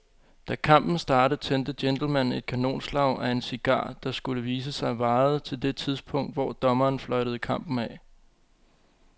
Da kampen startede tændte gentlemanen et kanonslag af en cigar, der, skulle det vise sig, varede til det tidspunkt, hvor dommeren fløjtede kampen af.